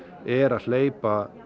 er að hleypa